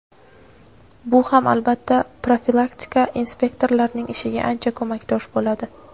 Bu ham albatta profilaktika inspektorlarining ishiga ancha ko‘makdosh bo‘ladi.